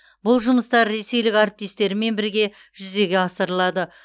бұл жұмыстар ресейлік әріптестерімен бірге жүзеге асырылады